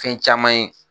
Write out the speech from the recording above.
Fɛn caman ye